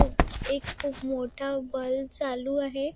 एक खुप मोठा बल्ब चालू आहे.